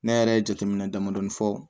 Ne yɛrɛ ye jateminɛ damadɔni fɔ